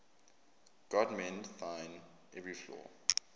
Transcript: god mend thine every flaw